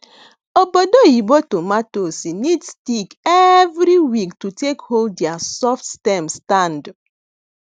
obodo oyibo tomatoes need stick every week to take hold their soft stem stand